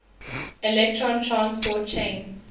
electron transport chain